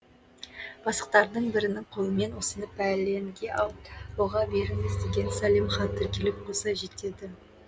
бастықтардың бірінің қолымен осыны пәленге аударуға беріңіз деген сәлем хат тіркеліп қоса жетеді